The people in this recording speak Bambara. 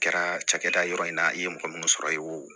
Kɛra cakɛda yɔrɔ in na i ye mɔgɔ minnu sɔrɔ i y'o